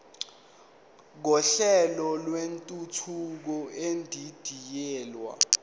kohlelo lwentuthuko edidiyelwe